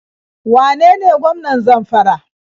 Wane ne gwamnan Zamfara?